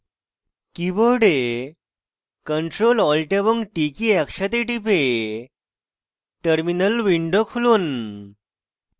keyboard ctrl alt এবং t কী একসাথে টিপে terminal উইন্ডো খুলুন